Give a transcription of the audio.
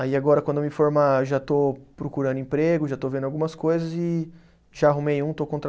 Aí agora, quando eu me formar, já estou procurando emprego, já estou vendo algumas coisas e já arrumei um, estou